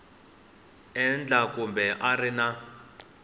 endla kumbe a a ri